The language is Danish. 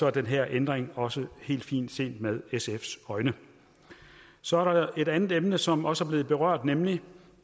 er den her ændring også helt fin set med sfs øjne så er der et andet emne som også er blevet berørt nemlig